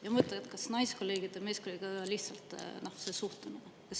Ma ei mõtle, et kas naiskolleegid või meeskolleegid, aga lihtsalt see suhtumine.